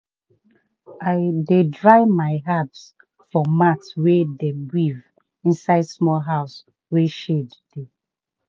i dey dry my herbs for mat wey dem weave inside small house wey shade dey.